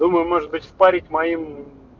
думаю может быть впарить моим